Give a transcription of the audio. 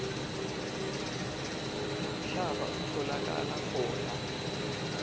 lomhlaba utfolakala khona